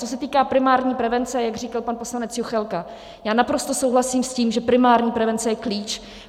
Co se týká primární prevence, jak říkal pan poslanec Juchelka, já naprosto souhlasím s tím, že primární prevence je klíč.